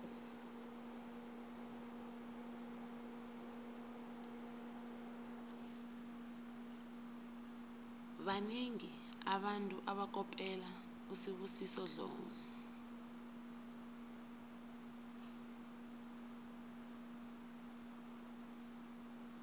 banengi abantu abakopela usibusiso dlomo